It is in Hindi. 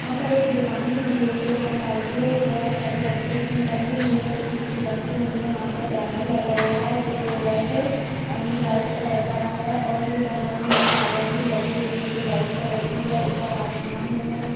वहां पर एक दुकान खुली हुई है जहां साइकिले बस सारी बच्चो की टंगी हुई हैं कुछ नीचे रखी हुई हैं यहां पर बैनर लगा हुआ है जो रेड एण्ड व्हाइट कलर का है और ये बैनर मे झालर भी लगी हुई हैं जो व्हाइट कलर की है ऊपर आसमान है।